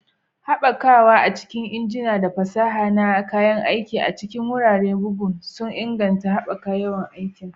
Haɓakawa a cikin injina da fasaha na kayan aiki a cikin wuraren bugu sun inganta haɓakar yawan aiki